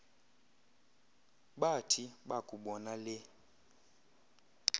bathi bakubona le